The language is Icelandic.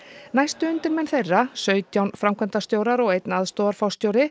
næstu undirmenn þeirra sautján framkvæmdastjórar og einn aðstoðarforstjóri